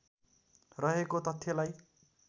रहेको तथ्यलाई